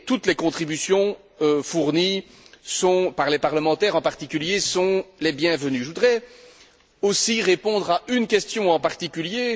Toutes les contributions fournies par les parlementaires en particulier sont les bienvenues. Je voudrais aussi répondre à une question en particulier.